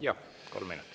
Jah, kolm minutit.